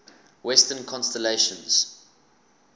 western constellations